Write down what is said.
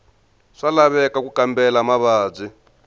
swa laveka ku kambela mavabyi